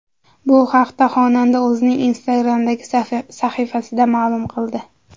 Bu haqda xonanda o‘zining Instagram’dagi sahifasida ma’lum qildi .